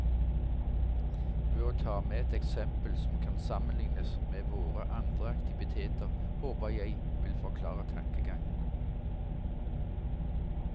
Ved å ta med et eksempel som kan sammenlignes med våre andre aktiviteter håper jeg vil forklare tankegangen.